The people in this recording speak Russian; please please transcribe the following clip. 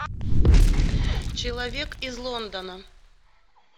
человек из лондона